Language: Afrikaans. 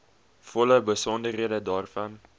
volle besonderhede daarvan